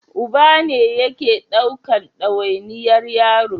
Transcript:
Uba ne yake ɗaukan dawainiyar yaro